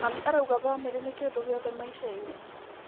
Mami arauga bamĩrĩ nĩ kĩndũ gĩothe maica-inĩ.